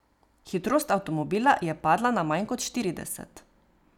Hitrost avtomobila je padla na manj kot štirideset.